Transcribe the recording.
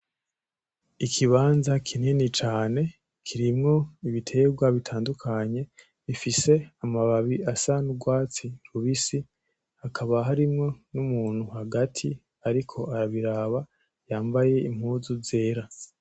Ikibanza kinini cane kirimwo ibiterwa butandukanye bifise amababi asa n’urwatsi rubisi, hakaba harimwo n’umuntu hagati ariko arabiraba yambaye impuzu zera .